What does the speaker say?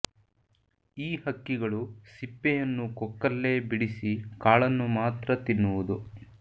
ಈ ಹಕ್ಕಿಗಳು ಸಿಪ್ಪೆಯನ್ನು ಕೊಕ್ಕಲ್ಲೇ ಬಿಡಿಸಿ ಕಾಳನ್ನು ಮಾತ್ರ ತಿನ್ನುವುದು